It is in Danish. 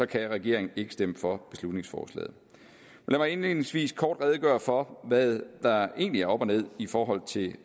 kan regeringen ikke stemme for beslutningsforslaget lad mig indledningsvis kort redegøre for hvad der egentlig er op og ned i forhold til